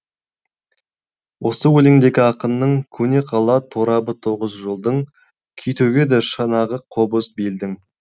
осы өлеңдегі ақынның көне қала торабы тоғыз жолдың күй төгеді шанағы қобыз белдің